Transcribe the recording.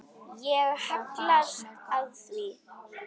Ég hallast að því.